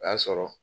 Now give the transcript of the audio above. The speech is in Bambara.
O y'a sɔrɔ